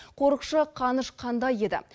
қорықшы қаныш қандай еді